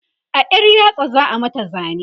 a ƴar yatsa za'a mata zane